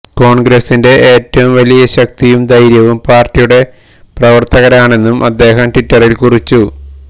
കോൺഗ്രസിന്റെ ഏറ്റവും വലിയ ശക്തിയും ധൈര്യവും പാർട്ടിയുടെ പ്രവർത്തകരാണെന്നും അദ്ദേഹം ട്വിറ്ററിൽ കുറിച്ചു